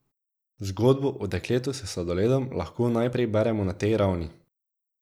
Zgodbo o dekletu s sladoledom lahko najprej beremo na tej ravni.